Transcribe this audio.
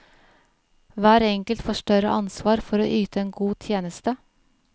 Hver enkelt får større ansvar for yte en god tjeneste.